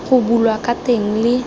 go bulwa ka teng le